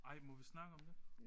Ej må vi snakke om det?